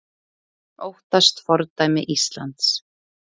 Óttast fordæmi Íslands